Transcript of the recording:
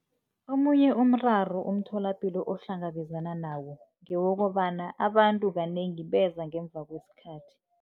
Omunye umraro umtholapilo ohlangabezana nawo ngewokobana abantu kanengi beza ngemva kwesikhathi.